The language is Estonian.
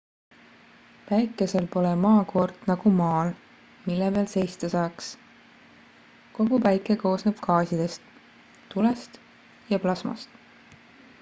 päikesel pole maakoort nagu maal mille peal seista saaks kogu päike koosneb gaasidest tulest ja plasmast